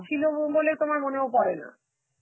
ছিলো ও বলে তো আমার মনেও পড়ে না.